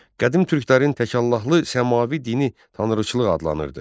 Qədim türklərin təkallahlı səmavi dini tanrıçılıq adlanırdı.